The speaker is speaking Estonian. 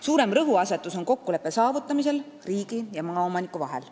Suurem rõhuasetus on kokkuleppe saavutamisel riigi ja maaomaniku vahel.